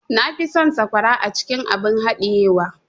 Na fi son sakwara acikin abun hadiye wa.